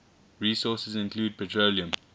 resources include petroleum